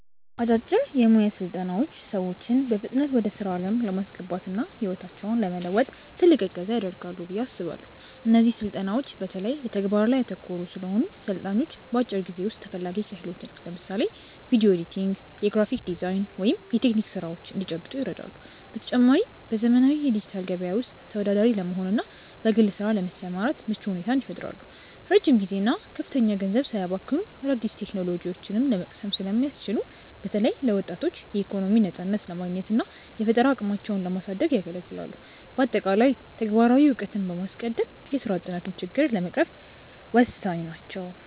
አጫጭር የሞያ ስልጠናዎች ሰዎችን በፍጥነት ወደ ስራ ዓለም ለማስገባትና ህይወታቸውን ለመለወጥ ትልቅ እገዛ ያደርጋሉ ብዬ አስባለው። እነዚህ ስልጠናዎች በተለይ በተግባር ላይ ያተኮሩ ስለሆኑ፣ ሰልጣኞች በአጭር ጊዜ ውስጥ ተፈላጊ ክህሎትን (ለምሳሌ ቪዲዮ ኤዲቲንግ፣ የግራፊክ ዲዛይን ወይም የቴክኒክ ስራዎች) እንዲጨብጡ ይረዳሉ። በተጨማሪም፣ በዘመናዊው የዲጂታል ገበያ ውስጥ ተወዳዳሪ ለመሆንና በግል ስራ ለመሰማራት ምቹ ሁኔታን ይፈጥራሉ። ረጅም ጊዜና ከፍተኛ ገንዘብ ሳያባክኑ አዳዲስ ቴክኖሎጂዎችን ለመቅሰም ስለሚያስችሉ፣ በተለይ ለወጣቶች የኢኮኖሚ ነፃነትን ለማግኘትና የፈጠራ አቅማቸውን ለማሳደግ ያገለግላሉ። በአጠቃላይ፣ ተግባራዊ እውቀትን በማስቀደም የስራ አጥነትን ችግር ለመቅረፍ ወሳኝ ናቸው።